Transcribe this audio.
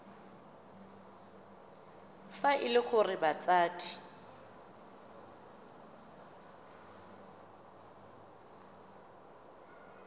fa e le gore batsadi